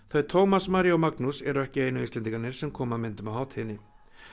þau Tómas María og Magnús eru ekki einu Íslendingarnir sem koma að myndum á hátíðinni